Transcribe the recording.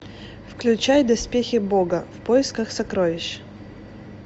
включай доспехи бога в поисках сокровищ